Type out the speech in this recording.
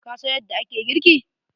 Ka san yadda ake girki?